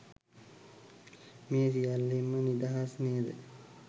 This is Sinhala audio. මේ සියල්ලෙන්ම නිදහස් නේද?